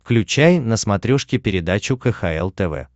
включай на смотрешке передачу кхл тв